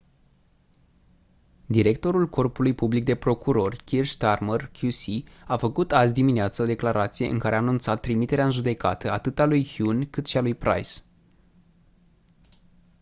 directorul corpului public de procurori kier starmer qc a făcut azi-dimineață o declarație în care a anunțat trimiterea în judecată atât a lui huhne cât și a lui pryce